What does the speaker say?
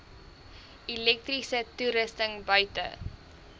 elektriese toerusting buite